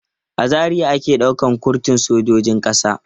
A Zaria ake ɗaukan kurtun sojojin ƙasa.